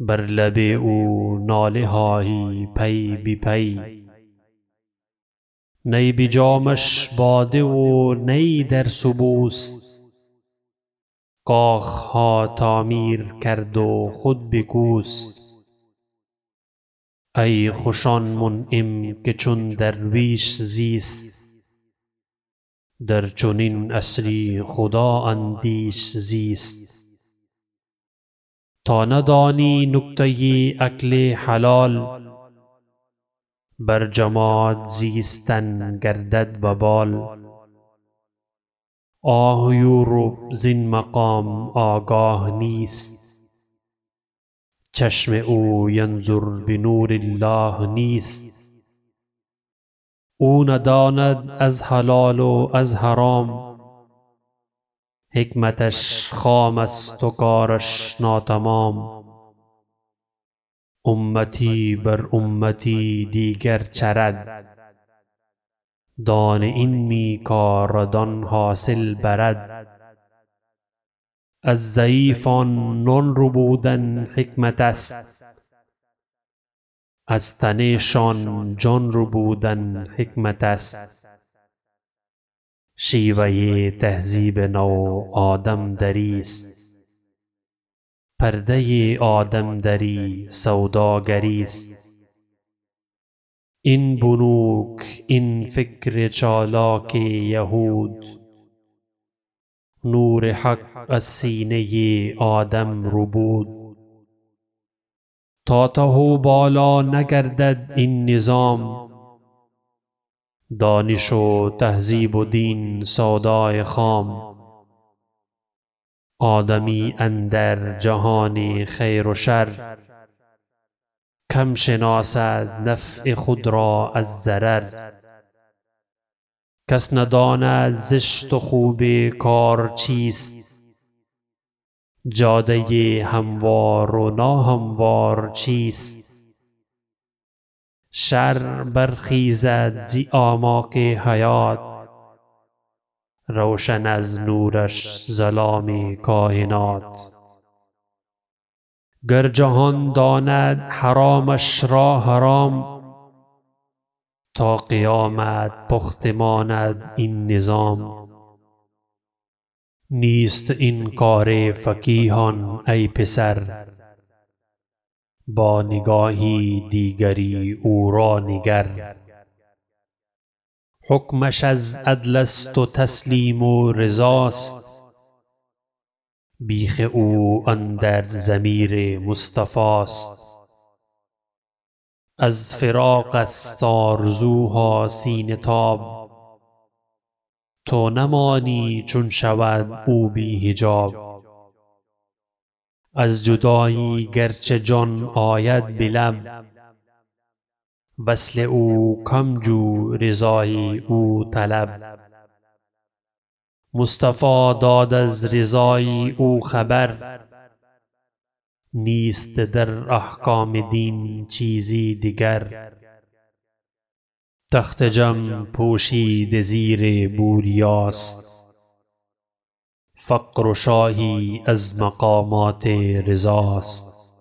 نی بر لب او ناله های پی به پی نی بجامش باده و نی در سبوست کاخها تعمیر کرد و خود بکوست ایخوش آن منعم که چون درویش زیست در چنین عصری خدا اندیش زیست تا ندانی نکته اکل حلال بر جماعت زیستن گردد وبال آه یورپ زین مقام آگاه نیست چشم او ینظر بنور الله نیست او نداند از حلال و از حرام حکمتش خام است و کارش ناتمام امتی بر امتی دیگر چرد دانه این می کارد آن حاصل برد از ضعیفان نان ربودن حکمتست از تن شان جان ربودن حکمتست شیوه تهذیب نو آدم دری است پرده آدم دری سوداگری است این بنوک این فکر چالاک یهود نور حق از سینه آدم ربود تا ته و بالا نگردد این نظام دانش و تهذیب و دین سودای خام آدمی اندر جهان خیر و شر کم شناسد نفع خود را از ضرر کس نداند زشت و خوب کار چیست جاده هموار و ناهموار چیست شرع بر خیزد ز اعماق حیات روشن از نورش ظلام کاینات گر جهان داند حرامش را حرام تا قیامت پخته ماند این نظام نیست این کار فقیهان ای پسر با نگاهی دیگری او را نگر حکمش از عدلست و تسلیم و رضاست بیخ او اندر ضمیر مصطفی است از فراق است آرزوها سینه تاب تو نمانی چون شود او بی حجاب از جدایی گرچه جان آید بلب وصل او کم جو رضای او طلب مصطفی داد از رضای او خبر نیست در احکام دین چیزی دگر تخت جم پوشیده زیر بوریاست فقر و شاهی از مقامات رضاست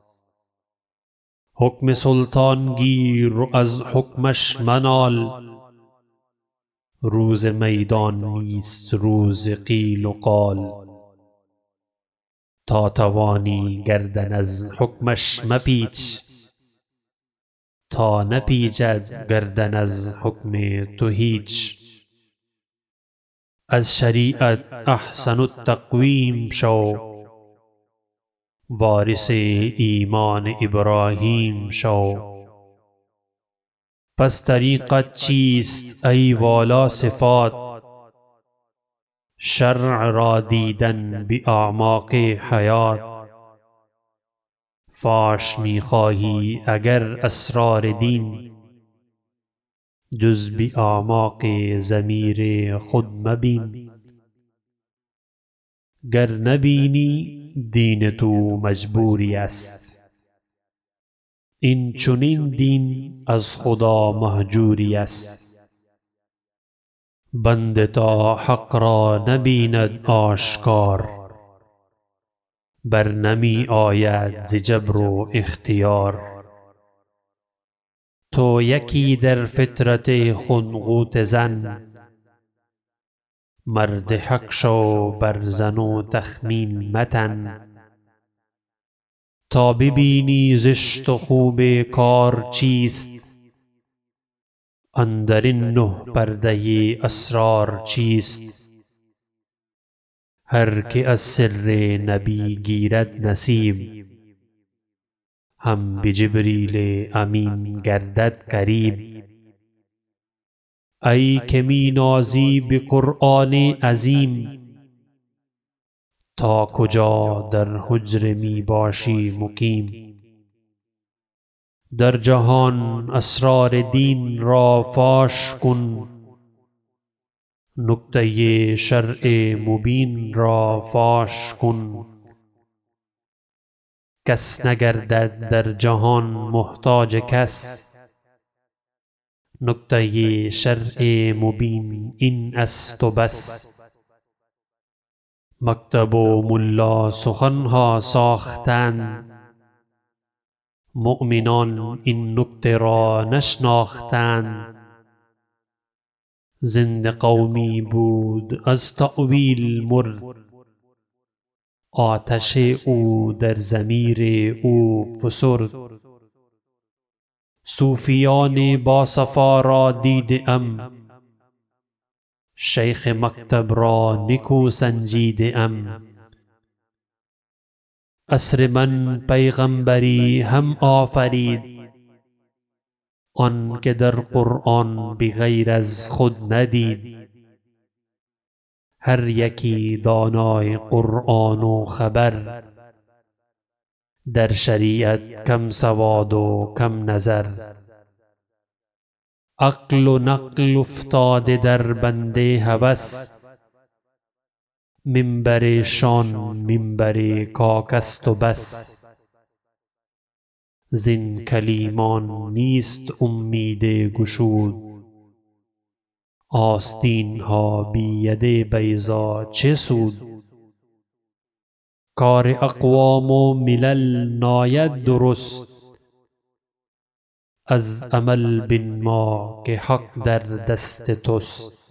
حکم سلطان گیر و از حکمش منال روز میدان نیست روز قیل و قال تا توانی گردن از حکمش مپیچ تا نپیچد گردن از حکم تو هیچ از شریعت احسن التقویم شو وارث ایمان ابراهیم شو پس طریقت چیست ای والاصفات شرع را دیدن به اعماق حیات فاش میخواهی اگر اسرار دین جز به اعماق ضمیر خود مبین گر نبینی دین تو مجبوری است اینچنین دین از خدا مهجوری است بنده تا حق را نبیند آشکار بر نمی آید ز جبر و اختیار تو یکی در فطرت خود غوطه زن مرد حق شو بر ظن و تخمین متن تا ببینی زشت و خوب کار چیست اندر این نه پرده اسرار چیست هر که از سر نبی گیرد نصیب هم به جبریل امین گردد قریب ای که می نازی به قرآن عظیم تا کجا در حجره می باشی مقیم در جهان اسرار دین را فاش کن نکته شرع مبین را فاش کن کس نگردد در جهان محتاج کس نکته شرع مبین این است و بس مکتب و ملا سخنها ساختند مؤمنان این نکته را نشناختند زنده قومی بود از تأویل مرد آتش او در ضمیر او فسرد صوفیان با صفا را دیده ام شیخ مکتب را نکو سنجیده ام عصر من پیغمبری هم آفرید آنکه در قرآن بغیر از خود ندید هر یکی دانای قرآن و خبر در شریعت کم سواد و کم نظر عقل و نقل افتاده در بند هوس منبرشان منبر کاک است و بس زین کلیمان نیست امید گشود آستین ها بی ید بیضا چه سود کار اقوام و ملل ناید درست از عمل بنما که حق در دست تست